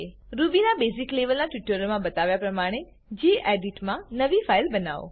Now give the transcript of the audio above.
Rubyના basic લેવલના ટ્યુટોરીયલોમા બતાવ્યા પ્રમાણે ગેડિટ મા નવી ફાઈલ બનાઓ